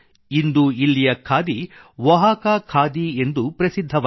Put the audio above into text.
ಇಂದು ಇಲ್ಲಿಯ ಖಾದಿ ಒಹಾಕಾ ಖಾದಿ ಎಂದು ಪ್ರಸಿದ್ಧವಾಗಿದೆ